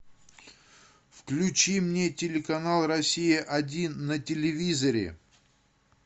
включи мне телеканал россия один на телевизоре